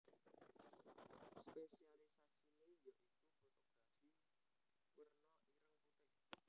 Spésialisasiné ya iku fotografi warna ireng putih